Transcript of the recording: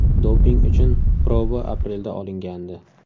Doping uchun proba aprelda olingandi.